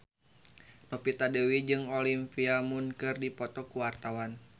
Novita Dewi jeung Olivia Munn keur dipoto ku wartawan